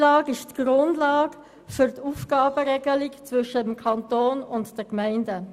Das FILAG ist die Grundlage für die Aufgabenteilung zwischen dem Kanton und den Gemeinden.